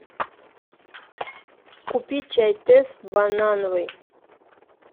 купи чай тесс банановый